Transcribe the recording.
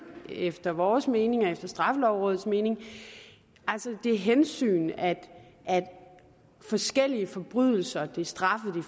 efter vores mening og efter straffelovrådets mening altså det hensyn at de forskellige forbrydelser og de straffe